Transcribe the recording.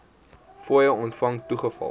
fooie ontvang toegeval